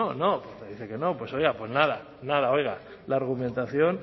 no no me dice que no pues oiga pues nada nada oiga la argumentación